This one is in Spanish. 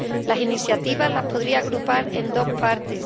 Las iniciativas las podría agrupar en dos partes.